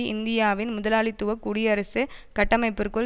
இந்தியாவின் முதலாளித்துவ குடியரசு கட்டமைப்பிற்குள்